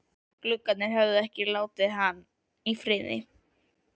Gluggarnir höfðu ekki látið hann í friði.